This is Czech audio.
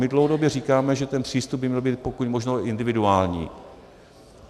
My dlouhodobě říkáme, že ten přístup by měl být pokud možno individuální.